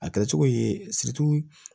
A kɛra cogo ye